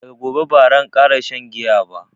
daga gobe baran kara shan giya ba